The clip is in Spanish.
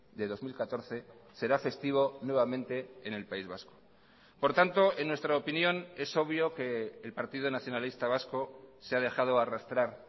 de dos mil catorce será festivo nuevamente en el país vasco por tanto en nuestra opinión es obvio que el partido nacionalista vasco se ha dejado arrastrar